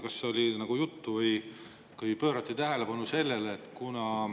Kas sellest oli juttu või kas sellele pöörati tähelepanu?